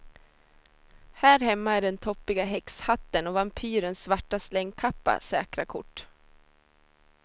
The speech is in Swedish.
Här hemma är den toppiga häxhatten och vampyrens svarta slängkappa säkra kort.